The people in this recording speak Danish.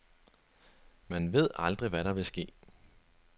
Man ved aldrig, hvad der vil ske.